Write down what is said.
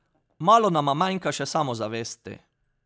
Malo nama manjka še samozavesti.